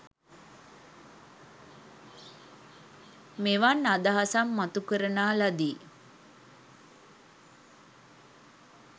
මෙවන් අදහසක් මතුකරනා ලදී.